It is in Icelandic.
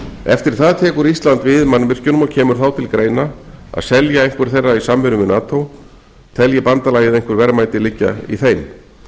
eftir það tekur ísland við mannvirkjunum og kemur þá til greina að selja einhver þeirra í samvinnu við nato telji bandalagið einhver verðmæti liggja í þeim